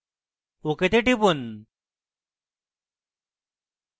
ok তে টিপুন